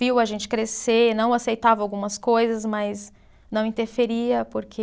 Viu a gente crescer, não aceitava algumas coisas, mas não interferia porque.